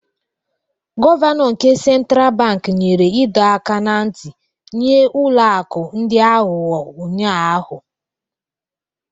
Gọvanọ nke Central Bank nyere ịdọ aka ná ntị nye ụlọ akụ ndị aghụghọ ụnyahụ